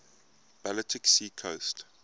baltic sea coast